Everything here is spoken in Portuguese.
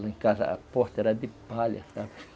Lá em casa a porta era de palha, sabe?